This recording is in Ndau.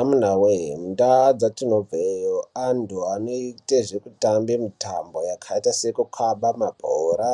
Amuna voye ndaa dzatinobveyo antu anoite zvekutamba mitambo yakaita sekukamba mabhora,